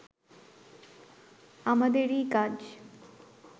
আমাদেরই কাজ